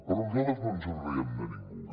però nosaltres no ens en riem de ningú